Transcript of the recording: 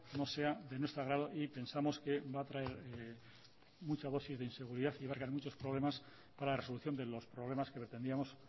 no sea de nuestro agrado y pensamos que va a traer mucha dosis de inseguridad y va a traer muchos problemas para la resolución de los problemas que pretendíamos